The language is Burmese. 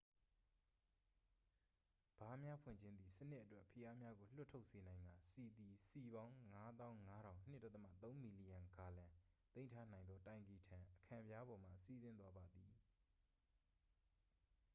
ဗားများဖွင့်ခြင်းသည် စနစ်အတွက် ဖိအားများကိုလွှတ်ထုတ်စေနိုင်ကာ ဆီသည် စည်ပေါင်း ၅၅၀၀၀ ၂.၃ မီလီယံဂါလံ သိမ်းထားနိုင်သောတိုင်ကီထံ အခံပြားပေါ်မှ စီးဆင်းသွားပါသည်။